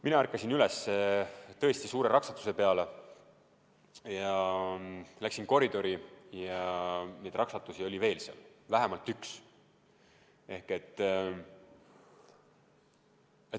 Mina ärkasin üles tõesti suure raksatuse peale ja läksin koridori, ja neid raksatusi oli seal veel vähemalt üks.